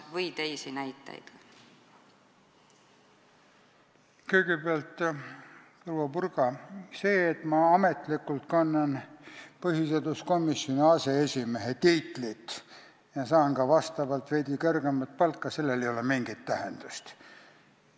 Kõigepealt, proua Purga, sellel, et ma ametlikult kannan põhiseaduskomisjoni aseesimehe tiitlit ja saan ka veidi kõrgemat palka, ei ole mingit tähendust.